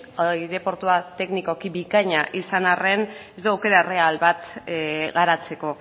aireportua teknikoki bikaina izan arren ez du aukera erreal bat garatzeko